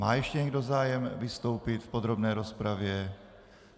Má ještě někdo zájem vystoupit v podrobné rozpravě?